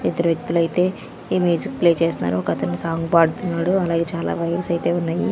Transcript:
ఇద్దరు వ్యక్తులు అయితే ఇమేజ్ ప్లే చేస్తున్నారు ఒక అతను సాంగ్ పాడుతున్నాడు అలాగే చాలా వైర్స్ అయితే ఉన్నాయి.